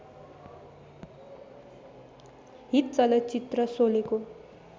hit चलचित्र शोलेको